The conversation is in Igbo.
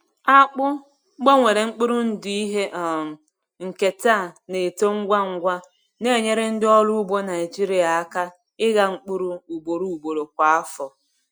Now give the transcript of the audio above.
Akpụ gbanwere mkpụrụ ndụ ihe um nketa na-eto ngwa ngwa, na-enyere ndị ọrụ ugbo Naijiria aka ịgha mkpụrụ ugboro ugboro kwa afọ.